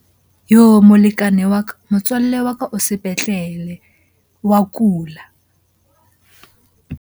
Yoh! molekane wa ka. Motswalle wa ka o sepetlele, wa kula.